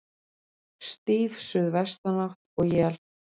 Stíf suðvestanátt og él